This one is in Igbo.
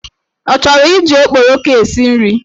Ọ chọrọ iji okporoko esi nri?